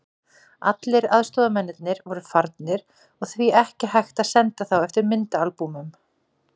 Allir aðstoðarmennirnir voru farnir og því ekki hægt að senda þá eftir myndaalbúmunum.